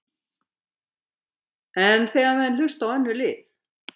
En þegar menn vilja hlusta á önnur lið?